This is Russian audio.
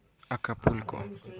акапулько